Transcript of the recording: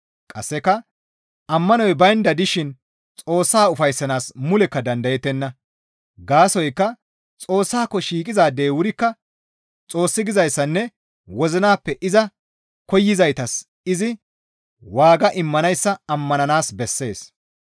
Qasseka ammanoy baynda dishin Xoossaa ufayssanaas mulekka dandayettenna; gaasoykka Xoossaako shiiqizaadey wurikka Xoossi gizayssanne wozinappe iza koyzaytas izi waaga immanayssa ammananaas bessees.